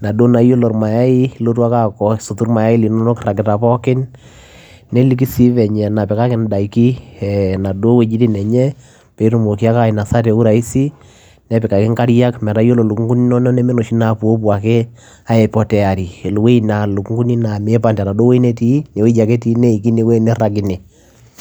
naa isotuu irmayai nelikii venye napikaki idaikin inaduo wuejitin enye peyiee Enya nipik inkariang peyiee etumokii atadataa telekii